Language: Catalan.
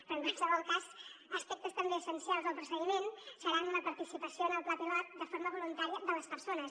però en qualsevol cas aspectes també essencials del procediment seran la participació en el pla pilot de forma voluntària de les persones